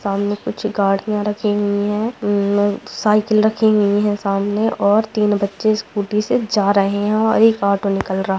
सामने कुछ गाड़ियाँ रखी हुई हैं साइकिल रखी हुई हैं सामने और तीन बच्चे स्कूटी से जा रहे हैं और एक ऑटो निकल रहा है।